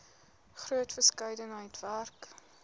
groot verskeidenheid werk